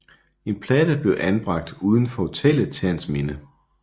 En platte blev anbragt uden for hotellet til hans minde